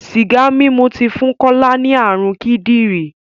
Sìgá mímu ti fún Kọ́lá ní ààrùn kídìrí.